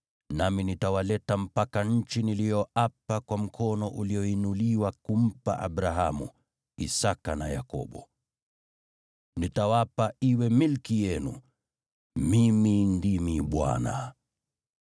Nami nitawaleta mpaka nchi niliyoapa kwa mkono ulioinuliwa kumpa Abrahamu, Isaki na Yakobo. Nitawapa iwe milki yenu. Mimi ndimi Bwana .’”